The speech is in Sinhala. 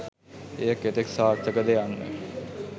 එය කෙතෙක් සාර්ථකද යන්න